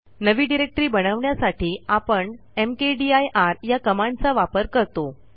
नवी डिरेक्टरी बनवण्यासाठी आपण मकदीर या कमांडचा वापर करतो